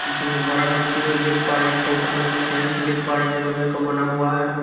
पीछे में एक बड़ा सा पेड़ देख पा रहे है इसके ऊपर हम फैंस देख पा रहे हैं जो लोहे बना हुआ है।